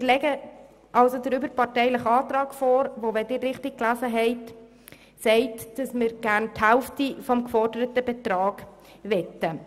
Wir legen also den überparteilichen Antrag vor, welcher – wenn Sie diesen richtig gelesen haben – besagt, dass wir gerne die Hälfte des geforderten Betrags möchten.